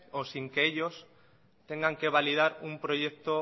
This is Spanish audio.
o sin que ellos tengan que validar un proyecto